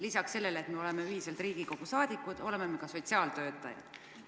Lisaks sellele, et me oleme ühiselt Riigikogu liikmed, oleme me ka sotsiaaltöötajad.